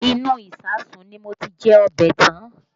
Inú ìsáàsùn ni mo ti jẹ ọbẹ̀ tán